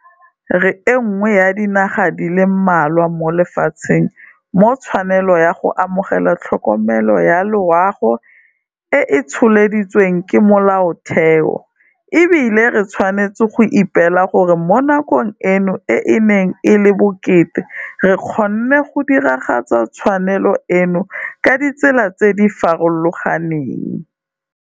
Re e nngwe ya dinaga di le mmalwa mo lefatsheng mo tshwanelo ya go amogela tlhokomelo ya loago e tsholeditsweng ke Molaotheo, e bile re tshwanetse go ipela gore mo nakong eno e e neng e le bokete re kgonne go diragatsa tshwanelo eno ka ditsela tse di farologaneng.